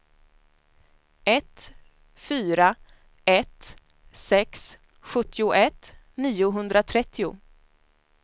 ett fyra ett sex sjuttioett niohundratrettio